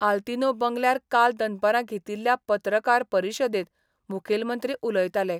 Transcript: आल्तिनो बंगल्यार काल दनपारा घेतिल्ल्या पत्रकार परिशदेत मुखेलमंत्री उलयताले.